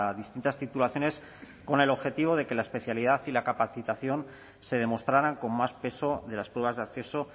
distintas titulaciones con el objetivo de que la especialidad y la capacitación se demostraran con más peso de las pruebas de acceso